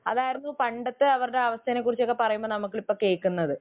അതായിരുന്നു പണ്ടത്തെ അവരുടെ അവസ്ഥയെകുറിച്ചൊക്കെ പറയുമ്പോൾ നമ്മൾ ഇപ്പോൾ കേൾക്കുന്നത്